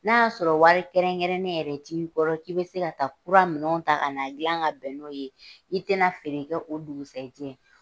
N'a y'a sɔrɔ wari kɛrɛnkɛrɛnnen yɛrɛc t'i kɔrɔ ki be se ka taa kura minɛnw ta ka na gilan ka bɛn n'o ye i tɛ na feere kɛ o dugusɛjɛ.